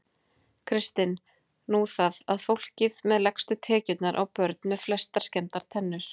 Kristinn: Nú það. að fólkið með lægstu tekjurnar á börn með flestar skemmdar tennur?